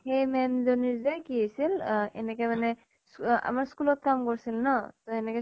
সেই মেম জনীৰ যে কি হৈছিল এনেকে মানে স্বু আহ আমাৰ school ত কাম কৰিছিল ন, ত এনেকে